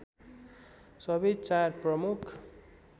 सबै चार प्रमुख